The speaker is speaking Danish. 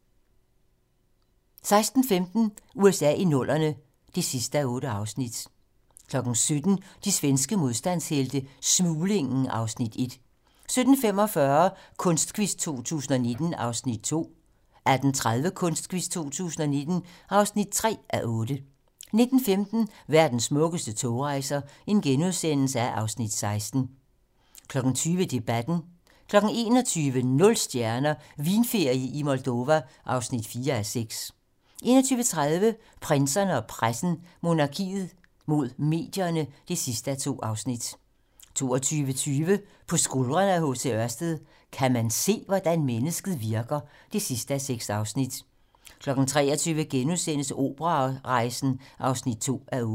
16:15: USA i 00'erne (8:8) 17:00: De svenske modstandshelte - Smuglingen (Afs. 1) 17:45: Kunstquiz 2019 (2:8) 18:30: Kunstquiz 2019 (3:8) 19:15: Verdens smukkeste togrejser (Afs. 16)* 20:00: Debatten 21:00: Nul stjerner - Vinferie i Moldova (4:6) 21:30: Prinserne og pressen - Monarkiet mod medierne (2:2) 22:20: På skuldrene af H. C. Ørsted - Kan man se, hvordan mennesket virker? (6:6) 23:00: Operarejsen (2:8)*